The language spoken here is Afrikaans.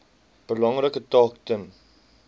belangrike taak ten